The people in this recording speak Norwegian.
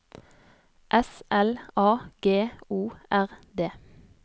S L A G O R D